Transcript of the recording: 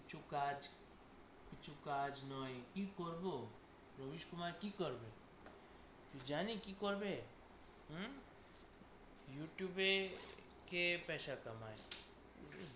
কিছু কাজ কিছু কাজ নয় কী করব? রবিস কুমার কী করবে? তু জানি কী করবে, হম? YouTube এ কে প্যায়সা কামায়?